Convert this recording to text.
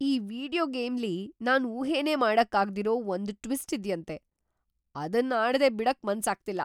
ಈ ವೀಡಿಯೋ ಗೇಮ್ಲಿ ನಾನ್‌ ಊಹೆನೇ ಮಾಡಕ್ಕಾಗ್ದಿರೋ ಒಂದ್ ಟ್ವಿಸ್ಟ್ ಇದ್ಯಂತೆ! ಅದನ್ ಆಡ್ದೆ ಬಿಡಕ್ ಮನ್ಸಾಗ್ತಿಲ್ಲ!